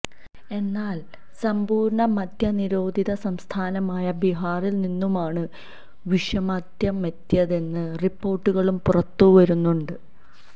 എന്നാല് സമ്പൂര്ണ മദ്യ നിരോധിത സംസ്ഥാനമായ ബിഹാറില് നിന്നുമാണ് വിഷമദ്യമെത്തിയതെന്ന റിപ്പോര്ട്ടുകളും പുറത്ത് വരുന്നുണ്ട്